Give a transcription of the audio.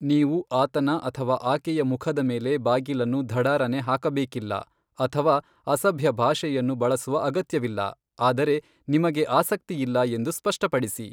ನೀವು ಆತನ ಅಥವಾ ಆಕೆಯ ಮುಖದ ಮೇಲೆ ಬಾಗಿಲನ್ನು ಧಡಾರನೆ ಹಾಕಬೇಕಿಲ್ಲ ಅಥವಾ ಅಸಭ್ಯ ಭಾಷೆಯನ್ನು ಬಳಸುವ ಅಗತ್ಯವಿಲ್ಲ, ಆದರೆ ನಿಮಗೆ ಆಸಕ್ತಿಯಿಲ್ಲ ಎಂದು ಸ್ಪಷ್ಟಪಡಿಸಿ.